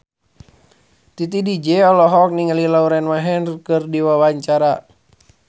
Titi DJ olohok ningali Lauren Maher keur diwawancara